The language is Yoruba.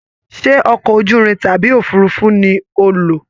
Ṣe ọkọ ojúrin tàbí òfurùnfu ní o lo?